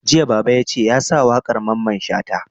Jiya Baba yace ya sa waƙar Mamman Shata!